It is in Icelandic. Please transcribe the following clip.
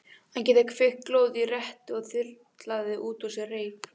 Að geta kveikt glóð í rettu og þyrlað út úr sér reyk.